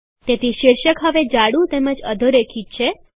તેથી શીર્ષક હવે જાડું તેમજ અધોરેખિત છે